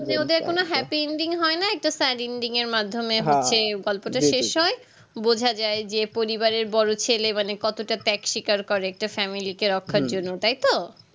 মানে ওদের কোনো happyending হয় নয় তো sad ending এর মাধ্যমে হচ্ছে গল্পটা শেষ হয় বোঝা যায় যে পরিবারের বড়ো ছেলে মানে কতটা back sikar করে একটা family কে রাখার জন্য তাই তো